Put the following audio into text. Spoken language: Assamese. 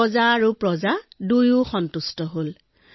ৰজা আৰু প্ৰজা উভয়ে সুখী হল